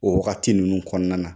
O wagati ninnu kɔnɔna na